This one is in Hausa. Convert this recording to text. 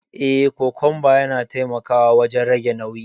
Eh, kokumba yana taimakawa wajen rage nauyi.